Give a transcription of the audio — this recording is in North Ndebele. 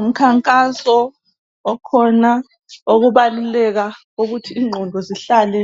Umkhankaso okhona okubaluleka ukuthi inqondo zihlale